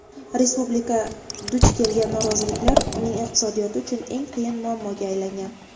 Respublika duch kelgan noroziliklar uning iqtisodiyoti uchun "eng qiyin" muammoga aylangan.